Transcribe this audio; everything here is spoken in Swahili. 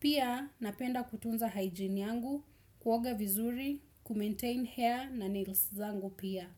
Pia, napenda kutunza hygiene yangu, kuoga vizuri, kumaintain hair na nails zangu pia.